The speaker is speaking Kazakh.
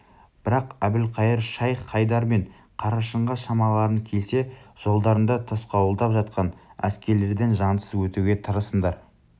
бірақ әбілқайыр шайх-хайдар мен қарашыңға шамаларың келсе жолдарыңды тосқауылдап жатқан әскерлерден жансыз өтуге тырысыңдар